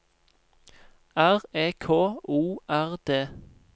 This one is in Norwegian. R E K O R D